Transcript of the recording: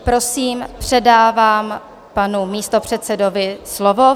Prosím, předávám panu místopředsedovi slovo.